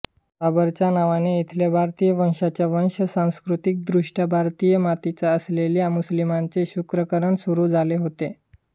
बाबरच्या नावाने इथल्या भारतीय वंशाच्या वंश सांस्कृतिकदृष्ट्या भारतीय मातीचा असलेल्या मुस्लिमांचे शत्रूकरण सुरू झाले होते